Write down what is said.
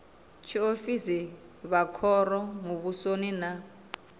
tshiofisi vha khoro muvhusoni na